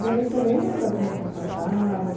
E aí você lembra como é que é a sua casa?